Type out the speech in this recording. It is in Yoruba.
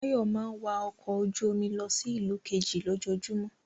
Báyọ̀ máa ń wa ọkọ̀ ojú-omi lọ sí ìlú kejì lójoojúmọ́.